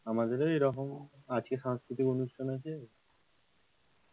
আমাদের ও এরকম আজকে সাংস্কৃতিক অনুষ্ঠান আছে